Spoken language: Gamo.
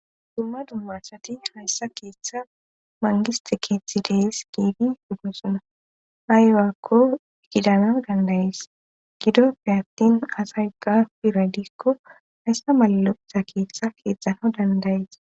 Dumma dumma asati hayssa keeththa mangiste keethi dees giigi dudnusona haywaakko gidana dandayis gidoppe attin asay gapiradikko hayssa mallotha keeththa keexxana dandayis.